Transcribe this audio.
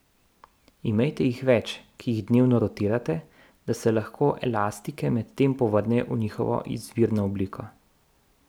Imejte jih več, ki jih dnevno rotirate, da se lahko elastike medtem povrnejo v njihovo izvirno obliko.